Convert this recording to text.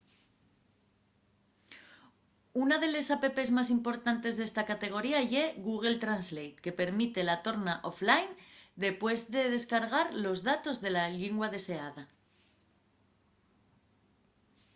una de les apps más importantes d’esta categoría ye google translate que permite la torna offline depués de descargar los datos de la llingua deseada